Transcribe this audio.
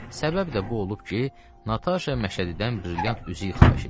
Səbəb də bu olub ki, Nataşa Məşədidən brilyant üzük xahiş eləyib.